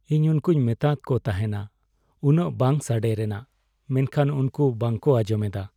ᱤᱧ ᱩᱱᱠᱩᱧ ᱢᱮᱛᱟᱫ ᱠᱚ ᱛᱟᱦᱮᱸᱱᱟ ᱩᱱᱟᱹᱜ ᱵᱟᱝ ᱥᱟᱰᱮᱭ ᱨᱮᱱᱟᱜ, ᱢᱮᱱᱠᱷᱟᱱ ᱩᱱᱠᱩ ᱵᱟᱝᱠᱚ ᱟᱸᱡᱚᱢ ᱮᱫᱟ ᱾